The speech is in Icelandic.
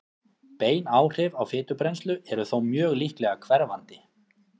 Bein áhrif á fitubrennslu eru þó mjög líklega hverfandi.